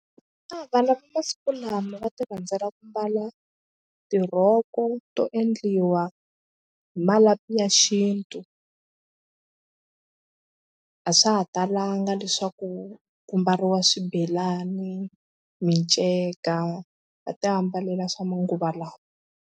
Vana va masiku lama va tirhandzela ku mbala tirhoko to endliwa hi malapi ya xintu a swa ha talanga leswaku ku mbariwa swibelani, miceka va tiambala swa manguva lawa.